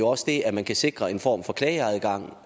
også det at man kan sikre en form for klageadgang